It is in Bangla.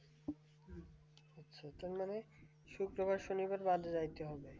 সেট মানে শুক্রবার শনিবার বাদে যাইতে হবে